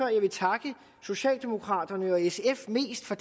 jeg vil takke socialdemokraterne og sf mest for